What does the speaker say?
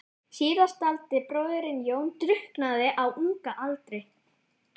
Síðasttaldi bróðirinn, Jón, drukknaði á unga aldri.